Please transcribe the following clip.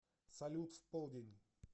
салют в полдень